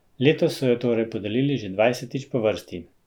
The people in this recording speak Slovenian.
Letos so jo torej podelili že dvajsetič po vrsti.